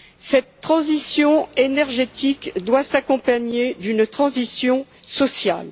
Cette transition énergétique doit s'accompagner d'une transition sociale.